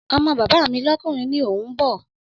Ọmọ bàbá mi lọ́kùnrin ni òun bọ̀